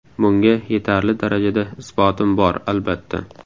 Bunga yetarli darajada isbotim bor, albatta.